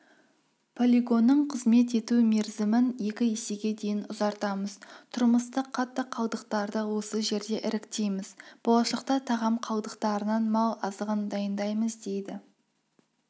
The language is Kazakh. полигонның қызмет ету мерзімін екі есеге дейін ұзартамыз тұрмыстық қатты қалдықтарды осы жерде іріктейміз болашақта тағам қалдықтарынан мал азығын дайындаймыз дейді